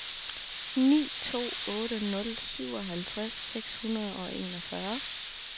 ni to otte nul syvoghalvtreds seks hundrede og enogfyrre